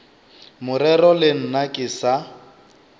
morero le nna ke sa